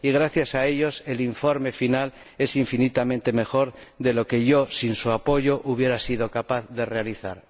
gracias a ellos el informe final es infinitamente mejor de lo que yo, sin su apoyo, habría sido capaz de realizar.